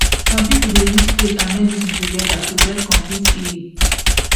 some people dey use faith and medicine together to get complete healing